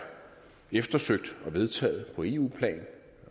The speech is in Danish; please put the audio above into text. eftersøgt og vedtaget på eu plan et